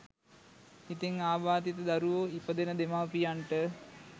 ඉතින් අබාධිත දරුවෝ ඉපදෙන දෙමව්පියන්ට